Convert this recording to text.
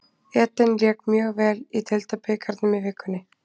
Eden lék mjög vel í deildabikarnum í vikunni.